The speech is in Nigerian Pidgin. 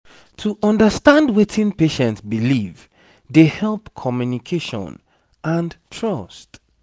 to understand wetin patient believe dey help communication and trust